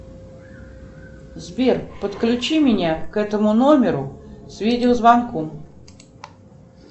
сбер подключи меня к этому номеру с видеозвонком